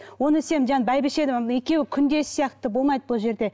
оны сен бәйбіше екеуі күндес сияқты болмайды бұл жерде